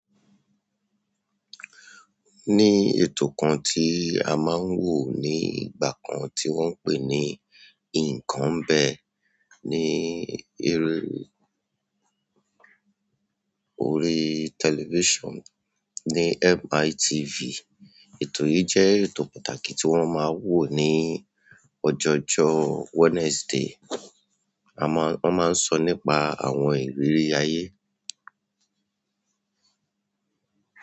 Ni ètò kan tí a máa ń wò ní ìgbà kan tí wọ́n ń pè ní "Nǹkan ń bẹ" ní eré, orí television ní MITV. Ètò yìí jẹ́ ètò pàtàkì tí wọ́n máa ń wo ní ọjọ̀jọ́ Wednesday. A máa, wọ́n máa ń sọ́ nípa àwọn ìrírí ayé.